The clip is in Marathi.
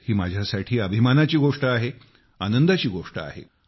ही माझ्यासाठी अभिमानाची गोष्ट आहे आनंदाची गोष्ट आहे